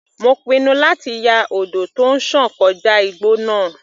Mo pinnu láti ya odò tó ń sàn kọjá igbó náà.